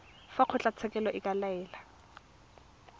fa kgotlatshekelo e ka laela